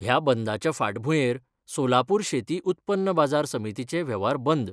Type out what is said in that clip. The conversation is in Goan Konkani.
ह्या बंदांच्या फांटभुयेर सोलापुर शेती उत्पन्न बाजार समितीचे वेव्हार बंद